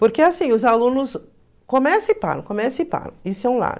Porque os alunos começam e param, começam e param